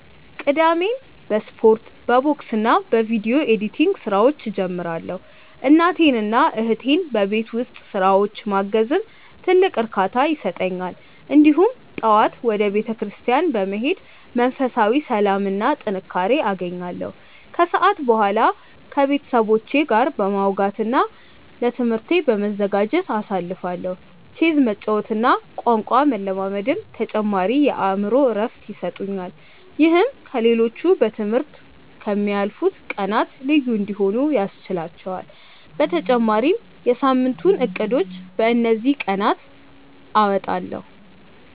ቅዳሜን በስፖርት፣ በቦክስና በቪዲዮ ኤዲቲንግ ስራዎች እጀምራለሁ። እናቴንና እህቴን በቤት ውስጥ ስራዎች ማገዝም ትልቅ እርካታ ይሰጠኛል። እሁድ ጠዋት ወደ ቤተክርስቲያን በመሄድ መንፈሳዊ ሰላምና ጥንካሬ አገኛለሁ፤ ከሰዓት በኋላ ከቤተሰቦቼ ጋር በማውጋትና ለትምህርቴ በመዘጋጀት አሳልፋለሁ። ቼዝ መጫወትና ቋንቋ መለማመድም ተጨማሪ የአእምሮ እረፍት ይሰጡኛል። ይህም ከ ሌሎቹ በ ትምህርት ከ ምያልፉት ቀናት ልዩ እንዲሆኑ ያስችህላቹአል በተጨማሪም የ ሳምንቱን እቅዶችን በ እንዚህ ቀናት አወጣለሁ።